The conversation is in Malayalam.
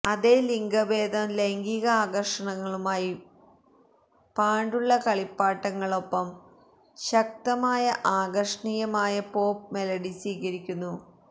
അതേ ലിംഗഭേദം ലൈംഗിക ആകർഷണങ്ങളുമായി പാണ്ടുള്ള കളിപ്പാട്ടങ്ങൾ ഒപ്പം ശക്തമായ ആകർഷണീയമായ പോപ് മെലഡി സ്വീകരിക്കുന്നു